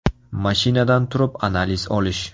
Mashinadan turib analiz olish.